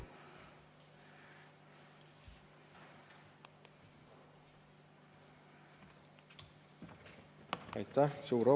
Aitäh!